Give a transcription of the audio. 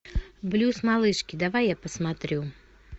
блюз малышки давай я посмотрю